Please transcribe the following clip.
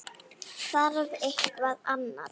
Þarf eitthvað annað?